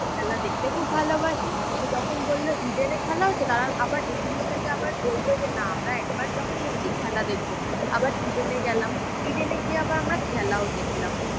খেলা দেখতে খুব ভালোবাসি, তো যখন বললো ইডেনে খেলা হচ্ছে তারা আবার এই জিনিসটাকে আবার বললো যে না আমরা একবার যখন এসছি খেলা দেখবো। আবার ইডেনে গেলাম, ইডেনে গিয়ে আবার আমরা খেলাও দেখলাম।